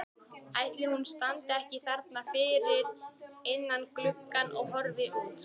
Ætli hún standi ekki þarna fyrir innan gluggann og horfi út?